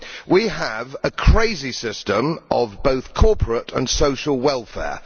We have a crazy system of both corporate and social welfare.